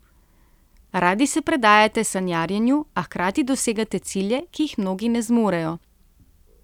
Radi se predajate sanjarjenju, a hkrati dosegate cilje, ki jih mnogi ne zmorejo.